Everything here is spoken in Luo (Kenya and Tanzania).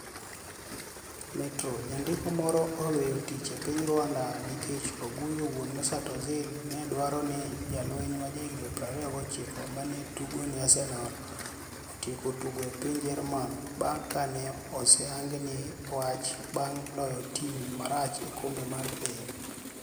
(Metro) Janidiko moro oweyo tich e piniy Rwanida niikech Oguyo Wuoni Mesut Ozil ni e dwaro nii jalweniy ma jahiginii 29 ma ni e tugo ni e Arsenial otiek tugo e piniy Jermani banig ' ka ni e osehanigni e wach banig ' loyo tim marach e Kombe mar Piniy.